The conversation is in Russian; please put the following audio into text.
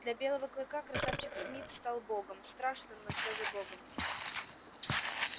для белого клыка красавчик смит стал богом страшным но все же богом